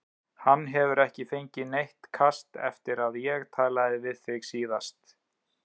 Hann hefur ekki fengið neitt kast eftir að ég talaði við þig síðast